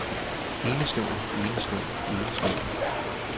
enestående enestående enestående